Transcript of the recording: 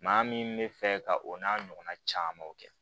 Maa min bɛ fɛ ka o n'a ɲɔgɔnna camanw kɛ